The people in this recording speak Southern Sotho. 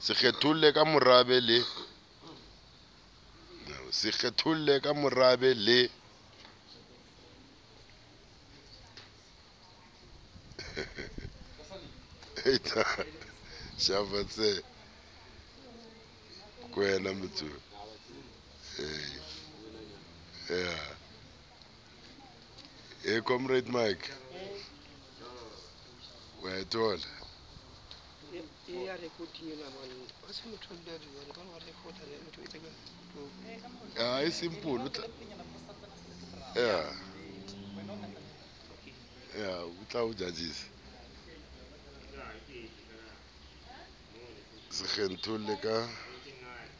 se kgetholle ka morabe le